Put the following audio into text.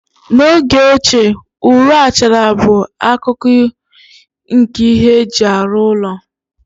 N'oge ochie, ụrọ, achara bụ akụkụ nke ihe eji arụ ụlọ.